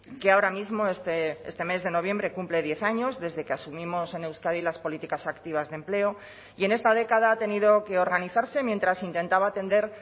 que ahora mismo este mes de noviembre cumple diez años desde que asumimos en euskadi las políticas activas de empleo y en esta década ha tenido que organizarse mientras intentaba atender